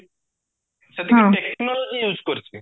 ସେତିକି technical ବି use କରିଛି